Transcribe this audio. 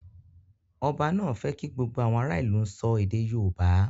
Ọba náà fẹ́ kí gbogbo àwọn ará ìlú sọ èdè yóòbá